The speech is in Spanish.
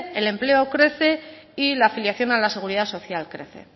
el empleo crece y la afiliación a la seguridad social crece